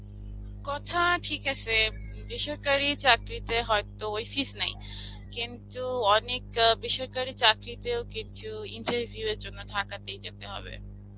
কথা ঠিক আসে, বেসরকারী চাকরীতে হয়তো ওই fees নেই, কিন্তু অনেক আ বেসরকারী চাকরীতেও কিছু interview এর জন্যে ঢাকাতেই যেতে হবে.